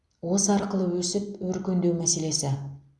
осы арқылы өсіп өркендеу мәселесі